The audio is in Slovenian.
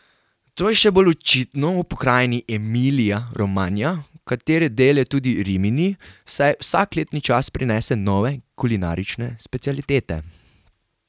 To je še bolj očitno v pokrajini Emilija Romanja, katere del je tudi Rimini, saj vsak letni čas prinese nove kulinarične specialitete.